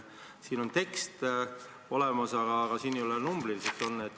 Siin on tekst olemas, aga numbrit ei ole.